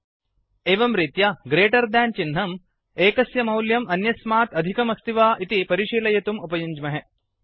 एवं रीत्या greater than greater than चिह्नं एकस्य मौल्यम् अन्यस्मात् अधिकम् अस्ति वा इति परिशीलयितुं उपयुञ्ज्महे